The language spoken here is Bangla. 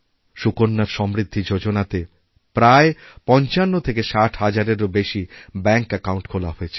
সুকন্যা সমৃদ্ধি যোজনাতে প্রায় ৫৫৬০ হাজারেরও বেশিব্যাঙ্ক অ্যাকাউন্ট খোলা হয়েছে